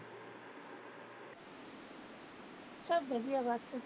ਸਭ ਵਧੀਆ ਬਸ।